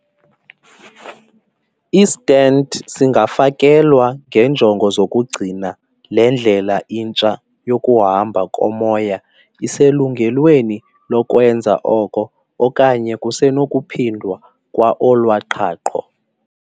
I-stent singafakelwa ngeenjongo zokugcina le ndlela intsha yokuhamba komoya iselungelweni lokwenza oko, okanye kusenokuphindwa kwa olwa qhaqho.